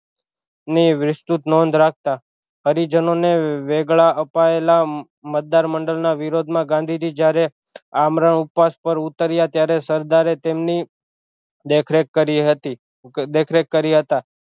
ની વિસ્તૃત નોંધ રાખતા હરિજનો ને વેગળા અપાયેલા મતદાર મંડળ ના વિરોધ માં ગાંધીજી જ્યારે આમરણ ઉપવાસ પર ઉતર્યા ત્યારે સરદારે તેમની દેખરેખ કરી હતી દેખરેખ કર્યા હતા